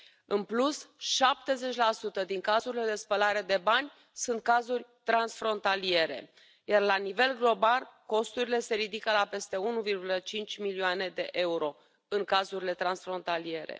În plus, 70 din cazurile de spălare de bani sunt cazuri transfrontaliere, iar la nivel global, costurile se ridică la peste 1,5 milioane de euro în cazurile transfrontaliere.